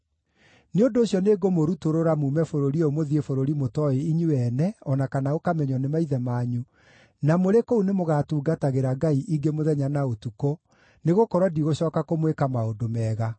Nĩ ũndũ ũcio nĩngũmũrutũrũra muume bũrũri ũyũ mũthiĩ bũrũri mũtooĩ inyuĩ ene, o na kana ũkamenywo nĩ maithe manyu, na mũrĩ kũu nĩmũgatungatagĩra ngai ingĩ mũthenya na ũtukũ, nĩgũkorwo ndigũcooka kũmwĩka maũndũ mega.’ ”